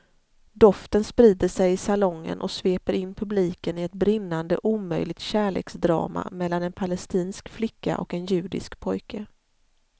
Doften sprider sig i salongen och sveper in publiken i ett brinnande omöjligt kärleksdrama mellan en palestinsk flicka och en judisk pojke.